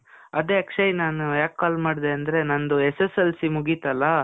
ಅದೇ, ಅಕ್ಷಯ್ ನಾನು ಯಾಕ್ call ಮಾಡ್ದೇ ಅಂದ್ರೆ, ನಂದು SSLC ಮುಗೀತಲ್ಲ?